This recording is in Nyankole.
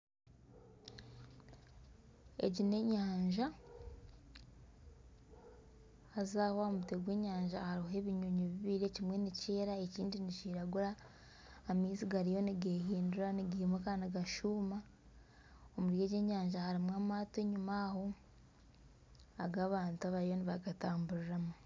Egi n'enyanja haza Aho aha mutwe gw'enyanja hariho ebinyonyi bibiri ekimwe nikyera, ekindi nikiragura. Amaizi gariyo nigehindura nigimuka nigashuuma. Omuri egi nyanja harimu amaato enyima aho agu abantu bariyo nibagatamburiramu.